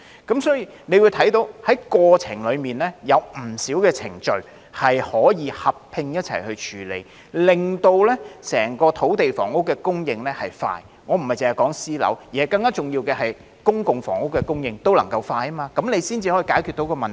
因此，大家看到，在過程中有不少程序可以合併處理，令整個土地房屋供應流程加快——我並非單指私樓，更重要的是，公共房屋供應流程也能夠加快——這樣才能解決問題。